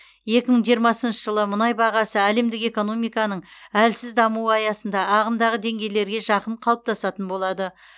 екі мың жиырмасыншы жылы мұнай бағасы әлемдік экономиканың әлсіз дамуы аясында ағымдағы деңгейлерге жақын қалыптасатын болады